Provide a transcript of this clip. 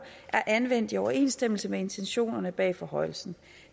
er anvendt i overensstemmelse med intentionerne bag forhøjelsen